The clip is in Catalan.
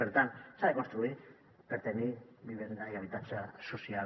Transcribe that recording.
per tant s’ha de construir per tenir vivenda i habitatge social